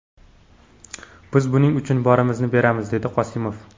Biz buning uchun borimizni beramiz”, − dedi Qosimov.